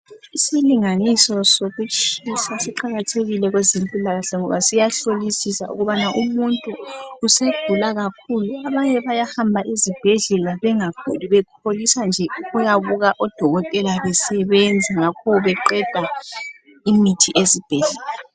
Isilinganiso sokutshisa siqakathelile kwezempilakahle ngoba siyahlolisisa ukubana umuntu usegula kakhulu Abanye bayahamba ezibhedlela bengaguli bekholisa nje ukuyabuka odokotela besebenza ngakho beqeda imithi ezibhedlela